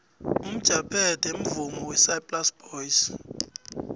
umjabethe mvumo wesaplasi boys